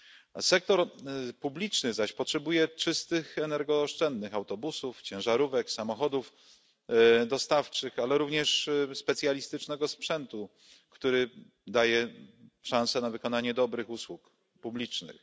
A sektor publiczny zaś potrzebuje czystych energooszczędnych autobusów, ciężarówek, samochodów dostawczych, ale również specjalistycznego sprzętu, który daje szansę na wykonanie dobrych usług publicznych.